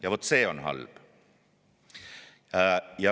Ja vot see on halb.